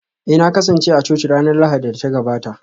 Eh na kasance a coci ranar Lahadin da ta gabata